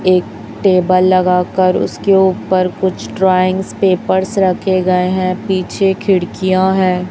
एक टेबल लगा कर उसके ऊपर कुछ ड्राइंग्स पेपर्स रखे गए हैं पीछे खिड़कियां हैं।